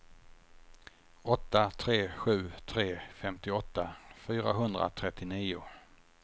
åtta tre sju tre femtioåtta fyrahundratrettionio